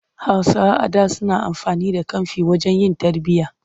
Hausawa a da suna amfani da camfi wajen yin tarbiyya.